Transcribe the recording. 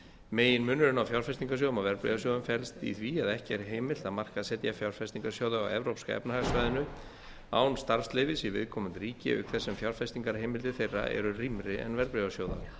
meginmunurinn á fjárfestingarsjóðum og verðbréfasjóðum felst í því að ekki er heimilt að markaðssetja fjárfestingarsjóði á evrópska efnahagssvæðinu án starfsleyfis í viðkomandi ríki auk þess sem fjárfestingarheimildir þeirra eru rýmri en verðbréfasjóða